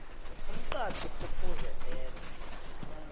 umqatjhi kufuze enze